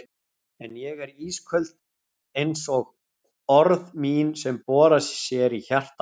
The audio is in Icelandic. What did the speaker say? En ég er ísköld einsog orð mín sem bora sér í hjarta hans.